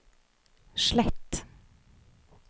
slett